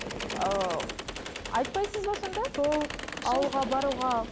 ыыы айтпайсыз ба сонда сол ауылға баруға